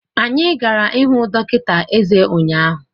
Anyị gara ịhụ dọkịta eze ụnyahụ.